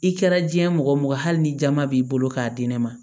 I kɛra diɲɛ mɔgɔ hali ni jama b'i bolo k'a di ne ma